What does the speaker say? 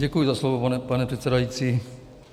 Děkuji za slovo, pane předsedající.